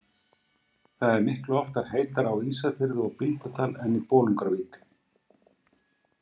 Það er miklu oftar heitara á Ísafirði og Bíldudal en í Bolungarvík.